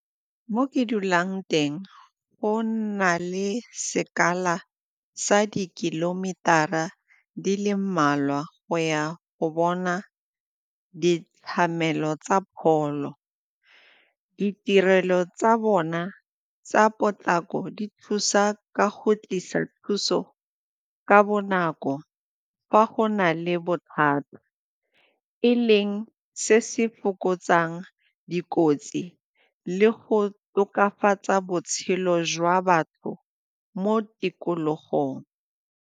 Mo ke dulang teng go nna le sekala sa di-kilometer-ra di le mmalwa go ya go bona tsa pholo. Ditirelo tsa bona tsa potlako di thusa ka go tlisa thuso ka bonako fa go na le bothata e leng se se fokotsang dikotsi le go tokafatsa botshelo jwa batho mo tikologong.